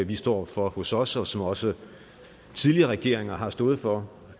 vi står for hos os og som også tidligere regeringer har stået for